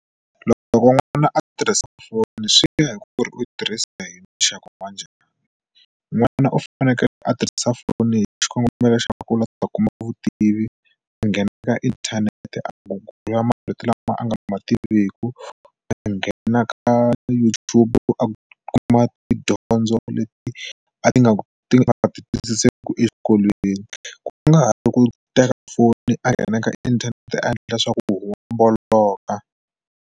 Loko loko n'wana a tirhisa foni swi vuya hi ku ri u tirhisa hi muxaka wa njhani n'wana u fanekele a tirhisa foni hi xikongomelo xa ku la ta kuma vutivi a nghena ka inthanete a gugula marito lama a nga ma tiviku a nghena ka YouTube a kuma tidyondzo leti a ti nga ti nga twisiseki exikolweni ku nga ri ku teka foni a nghena ka inthanete a endla swa ku homboloka.